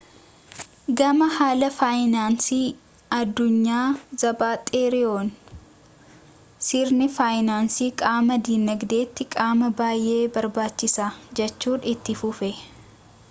gama haala faayinaansii addunyaan zaapaateeroon sirni faayinaansii qaama dinagdeeti qaama baayyee barbaachisaa jechuun itti fufe